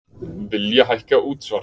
Vilja hækka útsvar